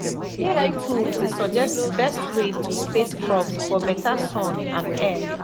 ai tools dey suggest best way to space crops for better sun and air